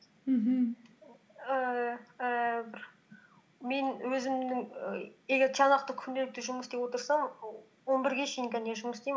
мхм ііі бір мен өзімнің і егер тиянақты күнделікті жұмыс істеп отырсам он бірге шейін жұмыс істеймін